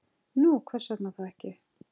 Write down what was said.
Nú, hvers vegna þá ekki?